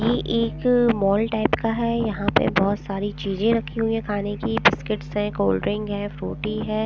ये एक अ मॉल टाइप का हैं यहाँ पे बहुत सारी चीजें रखी हुई हैं खाने की बिस्किट्स हैं कोल्ड्रिंक हैं फ्रूटी हैं ।